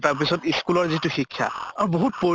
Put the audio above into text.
তাৰ পিছত school ৰ যিটো শিক্ষা বহুত পৰি